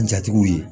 Jatigiw ye